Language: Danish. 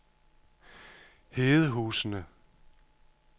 Hedehusene